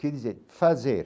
Quer dizer, fazer.